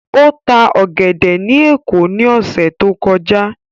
Ó ta ọ̀gẹ̀dẹ̀ ní Èkó ní ọ̀sẹ̀ tó kọjá.